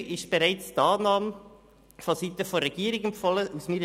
Zu Ziffer 3 ist bereits die Annahme vonseiten der Regierung empfohlen worden.